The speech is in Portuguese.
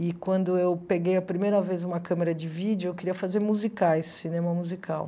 E quando eu peguei a primeira vez uma câmera de vídeo, eu queria fazer musicais, cinema musical.